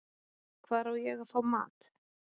Hvar á ég að fá mat?